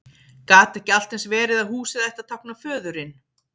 Gat ekki allt eins verið að húsið ætti að tákna föðurinn?